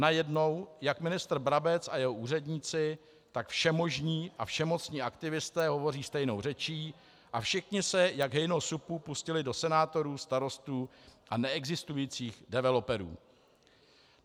Najednou jak ministr Brabec a jeho úředníci, tak všemožní a všemocní aktivisté hovoří stejnou řečí a všichni se jak hejno supů pustili do senátorů, starostů a neexistujících developerů.